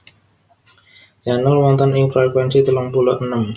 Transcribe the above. Channel wonten ing frekuensi telung puluh enem